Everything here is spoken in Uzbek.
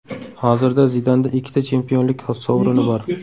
Hozirda Zidanda ikkita chempionlik sovrini bor.